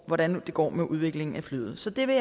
hvordan det går med udviklingen af flyet så det vil